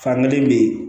Fankelen be yen